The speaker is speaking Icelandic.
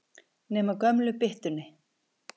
Nema gömlu byttunni.